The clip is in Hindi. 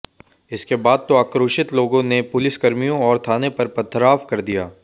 इसके बाद तो आक्रोशित लोगों ने पुलिसकर्मियों और थाने पर पथराव कर दिया